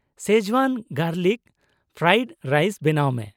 Schezwan garlic fried rice ᱵᱮᱱᱟᱣ ᱢᱮ ᱾